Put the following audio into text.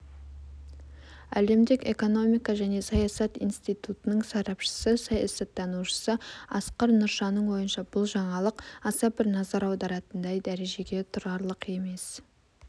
әлемдік экономика және саясат институтының сарапшысы саясаттанушы асқар нұршаның ойынша бұл жаңалық аса бір назар аударатындай дәрежеге тұрарлық емес